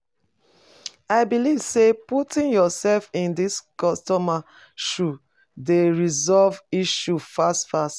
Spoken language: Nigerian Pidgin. I believe say putting yourself in di customers' shoes dey resolve issues fast fast.